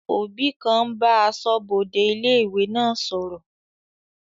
Òbí kan ń bá asọ́bodè ilé-ìwé náà sọ̀rọ̀